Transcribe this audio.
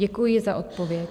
Děkuji za odpověď.